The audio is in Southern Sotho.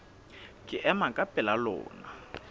ke ema ka pela lona